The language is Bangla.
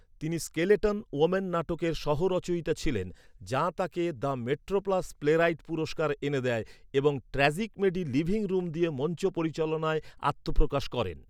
তিনি স্কেলেটন ওম্যান নাটকের সহ রচয়িতা ছিলেন, যা তাঁকে দ্য মেট্রোপ্লাস প্লেরাইট পুরস্কার এনে দেয় এবং ট্র্যাজিকমেডি লিভিং রুম দিয়ে মঞ্চ পরিচালনায় আত্মপ্রকাশ করেন।